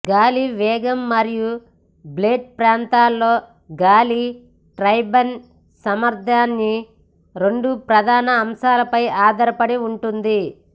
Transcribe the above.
గాలి వేగం మరియు బ్లేడ్ ప్రాంతంలో గాలి టర్బైన్ సామర్థ్యాన్ని రెండు ప్రధాన అంశాలపై ఆధారపడి ఉంటుంది